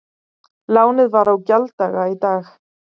Lánið var á gjalddaga í dag